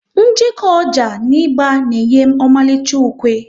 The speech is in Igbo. Njeko ọjà na ịgba na enye ọmalicha ukwe